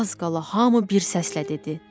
Az qala hamı bir səslə dedi: